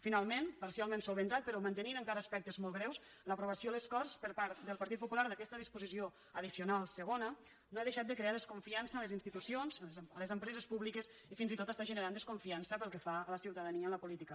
finalment parcialment solucionat però mantenint encara aspectes molts greus l’aprovació a les corts per part del partit popular d’aquesta disposició addicional segona no ha deixat de crear desconfiança a les institucions a les empreses públiques i fins i tot està generant desconfiança pel que fa a la ciutadania en la política